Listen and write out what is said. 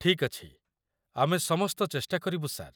ଠିକ୍ ଅଛି, ଆମେ ସମସ୍ତ ଚେଷ୍ଟା କରିବୁ, ସାର୍।